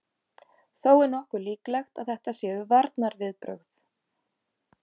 Þó er nokkuð líklegt að þetta séu varnarviðbrögð.